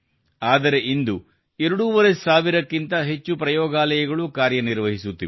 ಆದರೆ ಇಂದು ಎರಡೂವರೆ ಸಾವಿರಕ್ಕಿಂತ ಹೆಚ್ಚು ಪ್ರಯೋಗಾಲಯಗಳು ಕಾರ್ಯನಿರ್ವಹಿಸುತ್ತಿವೆ